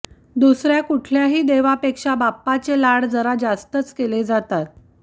दुसऱ्या कुठल्याही देवापेक्षा बाप्पाचे लाड जरा जास्तच केले जातात